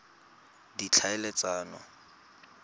ditlhaeletsano